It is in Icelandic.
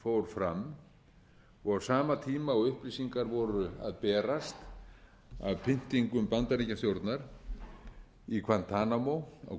fór fram og á sama tíma og upplýsingar voru að berast af pyntingum bandaríkjastjórnar í guantanamo á